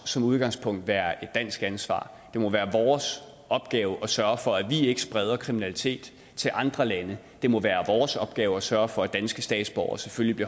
som udgangspunkt være et dansk ansvar det må være vores opgave at sørge for at vi ikke spreder kriminalitet til andre lande det må være vores opgave at sørge for at danske statsborgere selvfølgelig